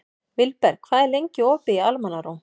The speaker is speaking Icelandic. Vilberg, hvað er lengi opið í Almannaróm?